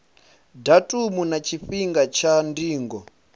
datumu na tshifhinga tsha ndingo